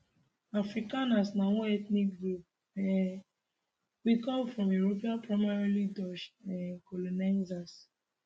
afrikaners na one ethnic group um wey come from european primarily dutch um colonizers